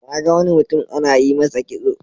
Na ga wani mutum ana yi masa kitso.